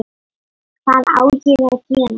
Hvað á ég að gera?